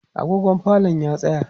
agogon falon ya tsaya